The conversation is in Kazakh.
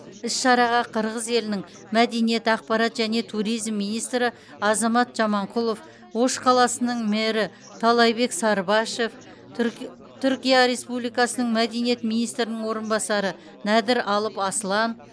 іс шараға қырғыз елінің мәдениет ақпарат және туризм министрі азамат жаманқұлов ош қаласының мэрі таалайбек сарыбашев түр түркия республикасының мәдениет министрінің орынбасары нәдір алып аслан